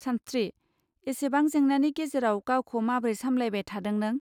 सानस्त्रि, एसेबां जेंनानि गेजेराव गावखौ माब्रै सामब्लायबाय थादों नों